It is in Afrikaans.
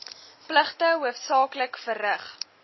pligte hoofsaaklik verrig